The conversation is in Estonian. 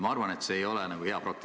Ma arvan, et see ei ole hea praktika.